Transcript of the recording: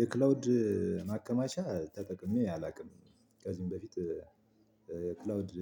የክላውድ ማከማቻ ተጠቅሜ አላውቅም። ከዚህም በፊት። የክላውድ